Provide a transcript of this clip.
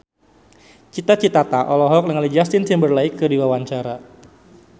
Cita Citata olohok ningali Justin Timberlake keur diwawancara